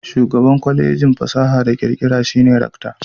Shugaban Kwalejin fasaha da kirkira shi ne rakta.